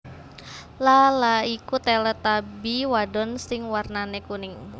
Laa Laa iku Teletubby wadon sing warnané kuning